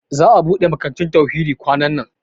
Za'a ɓuɗe makarantun Tauhidi kwanan nan.